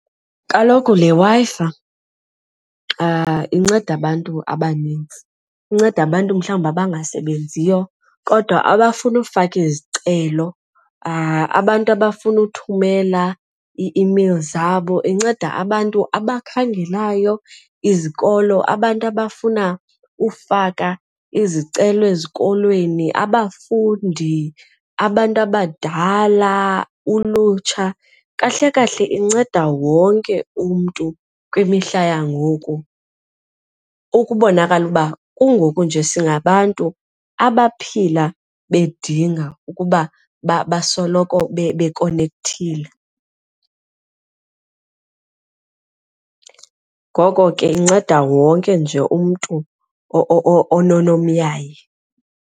Kaloku le Wi-Fi inceda abantu abanintsi, inceda abantu mhlawumbi abangasebenziyo kodwa abafuna ukufaka izicelo abantu abafuna uthumela ii-imeyili zabo, inceda abantu abakhangelayo izikolo abantu abafuna ufaka izicelo ezikolweni, abafundi abantu abadala, ulutsha. Kahle kahle inceda wonke umntu kwimihla yangoku ukubonakala uba kungoku nje singabantu abaphila bedinga ukuba basoloko bekonekthile. Ngoko ke inceda wonke nje umntu ononomyayi.